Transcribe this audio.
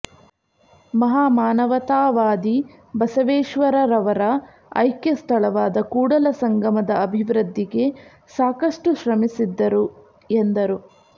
ಮಹಾಮಾನವತಾವಾದಿ ಬಸವೇಶ್ವರರವರ ಐಕ್ಯ ಸ್ಥಳವಾದ ಕೂಡಲಸಂಗಮದ ಅಭಿವೃದ್ಧಿಗೆ ಸಾಕಷ್ಟು ಶ್ರಮಿಸಿದ್ದರು ಎಂದರು